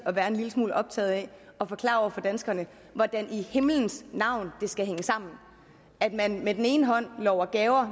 at være en lille smule optaget af at forklare danskerne hvordan i himlens navn det skal hænge sammen at man med den ene hånd lover gaver